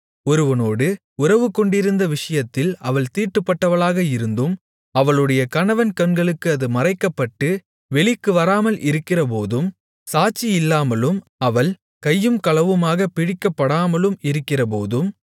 ஒருவனோடு உறவு கொண்டிருந்த விஷயத்தில் அவள் தீட்டுப்பட்டவளாக இருந்தும் அவளுடைய கணவன் கண்களுக்கு அது மறைக்கப்பட்டு வெளிக்கு வராமல் இருக்கிறபோதும் சாட்சியில்லாமலும் அவள் கையும் களவுமாகப் பிடிக்கப்படாமலும் இருக்கிறபோதும்